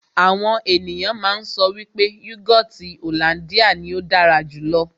Àwọn ènìyàn má ń sọ wípé yúgọọ́ti hollandia ní ó dára jù lọ.